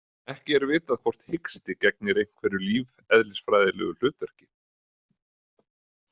Ekki er vitað hvort hiksti gegnir einhverju lífeðlisfræðilegu hlutverki.